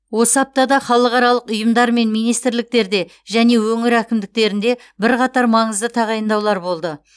осы аптада халықаралық ұйымдар мен министрліктерде және өңір әкімдіктерінде бірқатар маңызды тағайындаулар болды